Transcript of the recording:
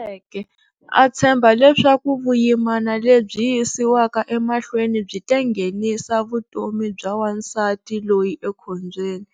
Tsariseke, a tshemba leswaku vuyimana lebyi yisiwaka emahlweni byi ta nghenisa vutomi bya wansati loyi ekhombyeni,